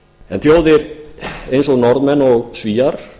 en þjóðir eins og norðmenn og svíar